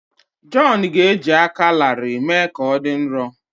Jọn ga-eji aka larịị mee ka ọ dị nro.